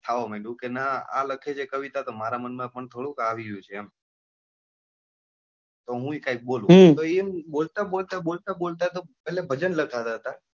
થવા માંડ્યું કે નાં આ લખે છે કવિતા તો મારા મન માં પણ થોડુક આવી રહ્યું છે એમ તો હુયે કઈક બોલું તો બોલતા બોલતા બોલતા બોલતા તો આમ એટલે ભજન લખતા હતા.